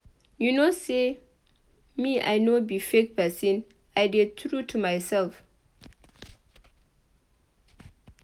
You know say me I no be fake person I dey true to myself.